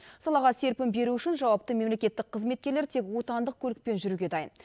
салаға серпін беру үшін жауапты мемлекеттік қызметкерлер тек отандық көлікпен жүруге дайын